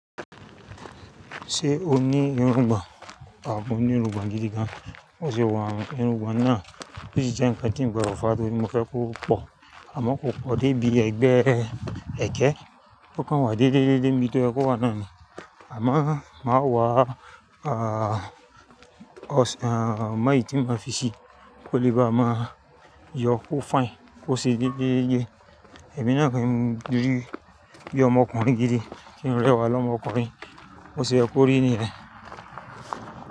Ṣé o ní irungbọ̀n àh mo ní irungbọ̀n gidi gan? Bó ṣe un irungbọ̀n náà, ó sì jẹ n kan tí ń gbọdọ̀ fà tórí mo fẹ́ kó pọ̀, àmọ́ kò pọ̀ dé bí ẹgbẹ́ ẹ̀kẹ́. Ó kan wá déde dede ní bí tó yẹ kó wa náà ni. Àmọ́ má wọ̀, ah, ọṣàn, ah, máì tí mo fi ṣí, kó lè bá máa yọ kó fine, kó ṣe yẹgẹyẹgẹ. Ẹ̀mí náà pẹ́ ń dúró bí ọmọkùnrin gidi tí ń rẹwà lọ́mọkùnrin. Bó ṣe ẹ ko rí nìyẹn?